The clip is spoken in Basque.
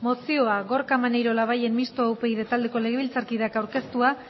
mozioa gorka maneiro labayen mistoa upyd taldeko legebiltzarkideak aurkeztua